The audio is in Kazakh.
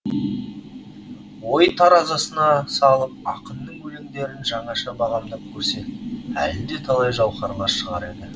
ой таразысына салып ақынның өлеңдерін жаңаша бағамдап көрсек әлі де талай жауһарлар шығар еді